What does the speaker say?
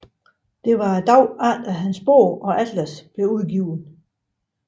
Det var dagen efter hans bog og atlas blev udgivet